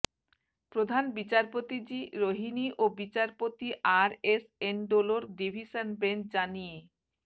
প্রধান বিচারপতি জি রোহিনি ও বিচারপতু R S Endlaw division bench জানিয়ে